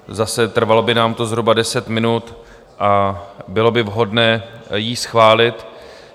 Zase, trvalo by nám to zhruba deset minut a bylo by vhodné ji schválit.